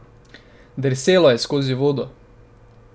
Drselo je skozi vodo.